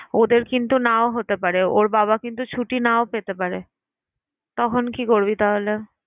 ওদের কিন্তু নাও হতে পারে। ওর বাবা কিন্তু ছুটি নাও পেতে পারে। তখন কি করবি তাহলে?